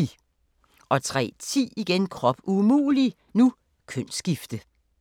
03:10: Krop umulig - kønsskifte